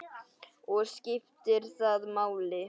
Og skiptir það máli?